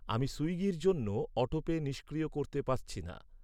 আমি সুইগির জন্য অটোপে নিষ্ক্রিয় করতে পারছি না।